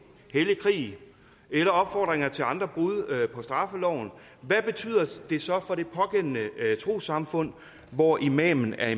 hellig krig eller opfordringer til andre brud på straffeloven hvad betyder det så for det pågældende trossamfund hvor imamen er